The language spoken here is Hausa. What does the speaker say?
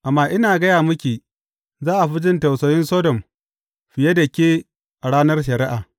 Amma ina gaya miki, za a fi jin tausayin Sodom fiye da ke a ranar shari’a.